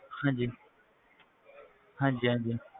ਹਾਂਜੀ ਹਾਂਜੀ ਹਾਂਜੀ,